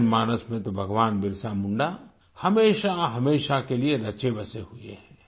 जनमानस में तो भगवान बिरसा मुंडा हमेशाहमेशा के लिए रचेबसे हुए हैं